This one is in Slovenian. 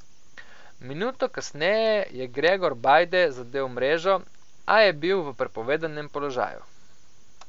Minuto kasneje je Gregor Bajde zadel mrežo, a je bil v prepovedanem položaju.